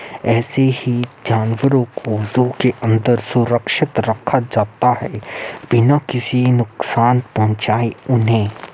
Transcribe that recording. ऐसे ही जानवरो को ज़ू के अंदर सुरक्षित रखा जाता है बिना किसी नुकसान पहुचाए उन्हें।